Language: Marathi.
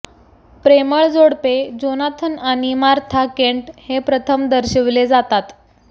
प्रेमळ जोडपे जोनाथन आणि मार्था केंट हे प्रथम दर्शविले जातात